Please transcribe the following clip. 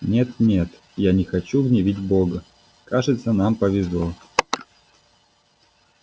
нет нет я не хочу гневить бога кажется нам повезло